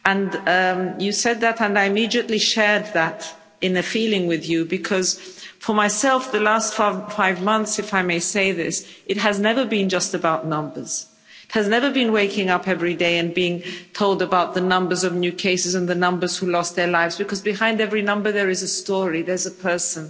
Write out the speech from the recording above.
She said that and I immediately shared that feeling with her because for myself in the last five months, if I may say this, it has never been just about numbers, it has never been about waking up every day and being told about the numbers of new cases and the numbers who lost their lives because behind every number there is a story, there is a person.